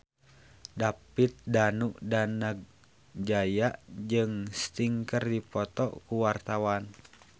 David Danu Danangjaya jeung Sting keur dipoto ku wartawan